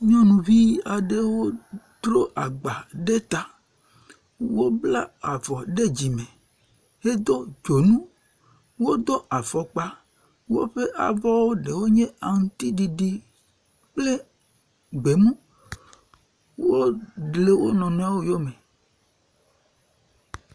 Nyɔnuvi aɖewo dro agba ɖe ta. Wobla avɔ ɖe dzime hedo dzonu. Wodo afɔkpa woƒe avɔ ɖewo nye aŋtsiɖiɖi kple gbemu. Wo le wo nɔnɔewo yome.